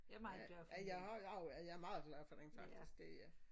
Ja jeg har jeg har jo jeg er meget glad for den faktisk det er jeg